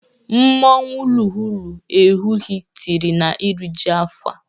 Mmanwụ lụghụlu Ehugu tiri n'iriji afọ a.